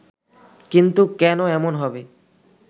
কিন্তু কেন এমন হবে